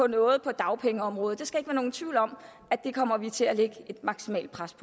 noget på dagpengeområdet der skal ikke være nogen tvivl om at der kommer vi til at lægge et maksimalt pres